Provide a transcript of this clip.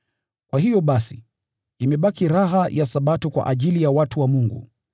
Kwa hiyo basi, imebaki raha ya Sabato kwa ajili ya watu wa Mungu;